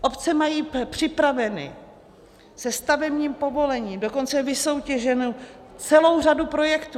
Obce mají připravenou se stavebním povolením, dokonce vysoutěženou, celou řadu projektů.